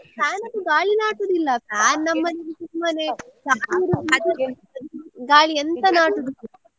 Fan ಅದ್ದು ಗಾಳಿ ನಾಟುದಿಲ್ಲ fan ಸುಮ್ಮನೆ ಗಾಳಿ ಎಂತ ನಾಟುದಿಲ್ಲ